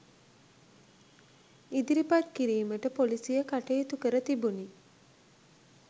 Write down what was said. ඉදිරිපත් කිරීමට පොලීසිය කටයුතු කර තිබුණි